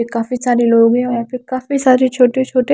ये काफी सारे लोग हैं और यहां पे काफी सारे छोटे छोटे--